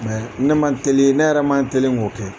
Ne ne man teli ne yɛrɛ maneli k'o kɛ